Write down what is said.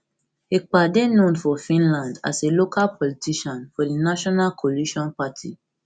ekpa dey known for finland as a local politician for di national coalition party